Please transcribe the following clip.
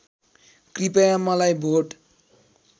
कृपया मलाई भोट